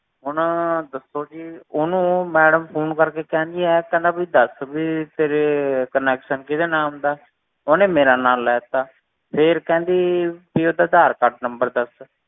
ਹੁਣ ਦੱਸੋ ਜੀ ਉਹਨੂੰ madam phone ਕਰਕੇ ਕਹਿੰਦੀ ਹੈ ਕਹਿੰਦਾ ਵੀ ਦੱਸ ਵੀ ਤੇਰੇ connection ਕਿਹਦੇ ਨਾਮ ਦਾ, ਉਹਨੇ ਮੇਰਾ ਨਾਮ ਲੈ ਦਿੱਤਾ, ਫਿਰ ਕਹਿੰਦੀ ਵੀ ਉਹਦਾ ਆਧਾਰ ਕਾਰਡ number ਦੱਸ,